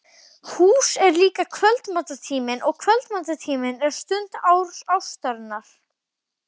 Hús er líka kvöldmatartíminn og kvöldmatartíminn er stund ástarinnar.